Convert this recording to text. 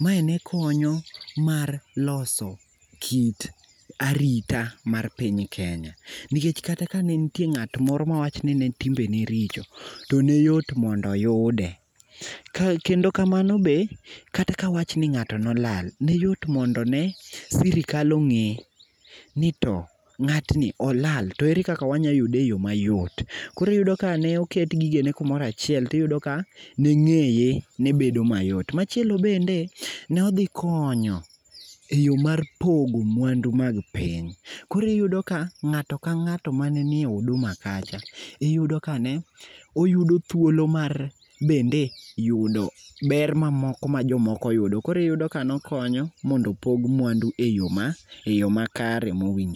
Mae ne konyo mar loso kit arita mar piny Kenya. Nikech kata ka ne nitie ng'ato moro mawach ni ne timbe ne richo to ne yot mondo oyude. Kendo kamano be kata kawach ni ng'ato nolal ne yot mondo ne sirikal ong'e ni to ng'atni olal to ere kaka wanyalo yude e yo mayot. Koro iyudo ka ne oket gigene kumoro achiel tiyudo ka ne ng'eye ne bedo mayot. Machielo bende, nodhikonyo e yo mar pogo mwandu mag piny. koro iyudo ka ng'ato ka ng'ato mane ni e huduma kacha iyudo kane oyudo thuolo mar bende yudo ber mamoko ma jomoko yudo koro iyudo ka nokonyo mondo opog mwandu e yo makare mowinjore.